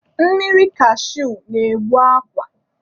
Mmiri kashui na-egbu akwa.